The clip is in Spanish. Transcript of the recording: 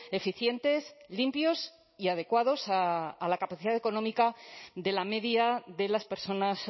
eficientes limpios y adecuados a la capacidad económica de la media de las personas